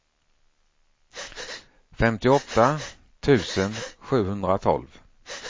femtioåtta tusen sjuhundratolv